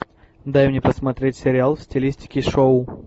дай мне посмотреть сериал в стилистике шоу